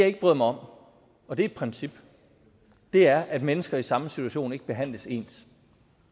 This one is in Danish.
ikke bryder mig om og det er et princip er at mennesker i samme situation ikke behandles ens